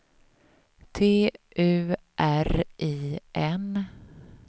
T U R I N